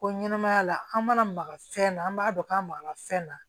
Ko ɲɛnɛmaya la an mana maga fɛn na an b'a dɔn k'an maka fɛn na